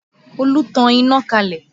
Olú tan iná kalẹ̀